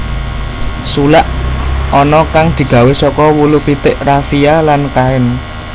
Sulak ana kang digawé saka wulu pitik rafiya lan kain